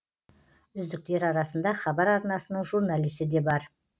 үздіктер арасында хабар арнасының журналисі де бар